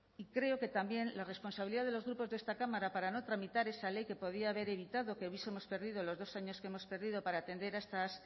y creo que también la responsabilidad de los grupos de esta cámara para no tramitar esa ley que podía haber evitado que hubiesemos perdido los dos años que hemos perdido para atender a estas